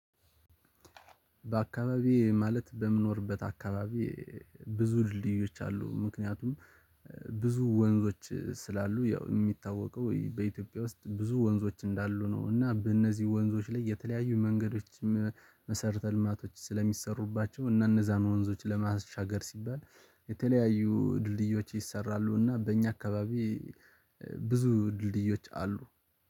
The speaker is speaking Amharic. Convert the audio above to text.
በአካባቢዬ ማለት በምኖርበት አካባቢ ብዙ ድልድዮች አሉ ምክንያቱም ብዙ ወንዞች ስላሉ ያው የሚታወቀው በኢትዮጵያ ውስጥ ብዙ ወንዞች እንዳሉ ነው። እና በእነዚህ ወንዞች ላይ የተለያዩ መንገዶችም መሰረተ ልማቶች ስለሚሰሩባቸው እነዛን ወንዞች ለማሻገር ሲባል የተለያዩ ድልድዮች ይሰራሉና በእኛ አካባቢ ብዙ ድልድዮች አሉ